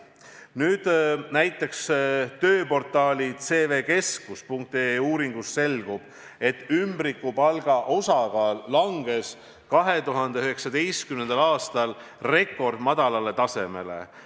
Nüüd, näiteks, tööportaali CVKeskus.ee uuringust selgub, et ümbrikupalga osakaal langes 2019. aastal rekordmadalale tasemele.